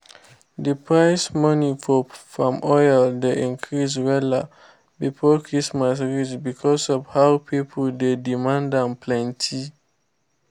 d price money for palm oil dey increase wella before christmas reach becos of how pipo dey demand am plenti.